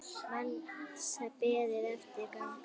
Hans beið erfið ganga.